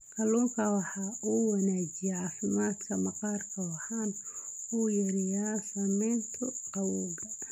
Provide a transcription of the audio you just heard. Kalluunku waxa uu wanaajiyaa caafimaadka maqaarka waxana uu yareeyaa saamaynta gabowga.